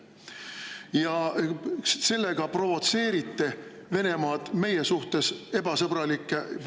Ja sellega te provotseerite Venemaad meie suhtes ebasõbralikke, vaenulikke …